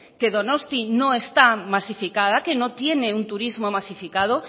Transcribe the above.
que donostia no está masificada que no tiene un turismo masificado